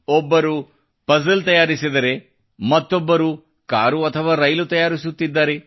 ಓರ್ವ ವಿದ್ಯಾರ್ಥಿ ಪಜಲ್ ತಯಾರಿಸಿದರೆ ಮತ್ತೋರ್ವ ವಿದ್ಯಾರ್ಥಿ ಕಾರು ಅಥವಾ ರೈಲು ತಯಾರಿಸುತ್ತಿದ್ದಾರೆ